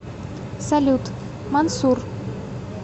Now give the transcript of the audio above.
салют мансур